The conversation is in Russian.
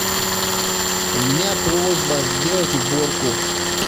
у меня просьба сделать уборку